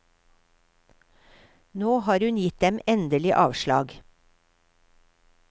Nå har hun gitt dem endelig avslag.